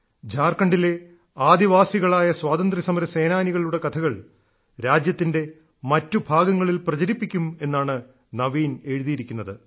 ഝാർഖണ്ഡിലെ ആദിവാസികളായ സ്വാതന്ത്ര്യസമരസേനാനികളുടെ കഥകൾ രാജ്യത്തിന്റെ മറ്റു ഭാഗങ്ങളിൽ പ്രചരിപ്പിക്കും എന്നാണ് നവീൻ എഴുതിയിരിക്കുന്നത്